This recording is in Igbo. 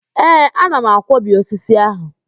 Ee, ana m akwọbi osisi ahụ